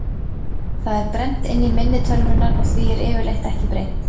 Það er brennt inn í minni tölvunnar og því er yfirleitt ekki breytt.